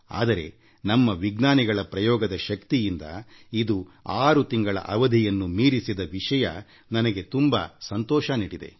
ಆದರೆ ನಮ್ಮ ವಿಜ್ಞಾನಿಗಳ ಪ್ರಯೋಗದ ಶಕ್ತಿಯಿಂದ ಇದು ಆರು ತಿಂಗಳ ಅವಧಿಯನ್ನು ಮೀರಿದ ವಿಷಯ ನನಗೆ ತುಂಬಾ ಸಂತೋಷ ನೀಡಿದೆ